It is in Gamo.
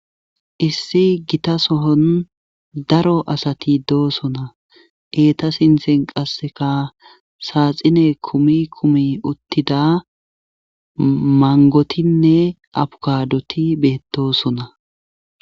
Issi gita sohon daro asati doosona eeta sinthen qasseka saaxine kumi kumi uttida mangotinne abukaadoti beettosona.